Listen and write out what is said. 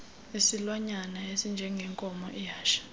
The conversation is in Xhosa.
isilwanyana esinjengenkomo ihashe